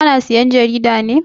Ka na sayan jarida ne?